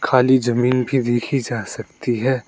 खाली जमीन भी देखी जा सकती है।